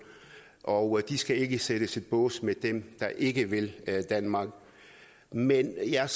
og de skal ikke sættes i bås med dem der ikke vil danmark men jeg